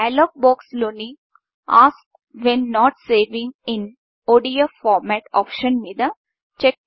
dialogue box లోని ask when not saving in ask when not saving in ODF format option మీద చెక్ను పెట్టండి